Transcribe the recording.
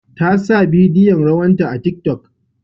Ta sa bidiyon rawanta a tiki tok